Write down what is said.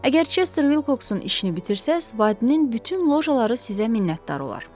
Əgər Chester Wilcoxun işini bitirsəz, Waddin bütün lojaları sizə minnətdar olar.